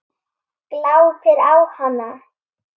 Glápir á hana.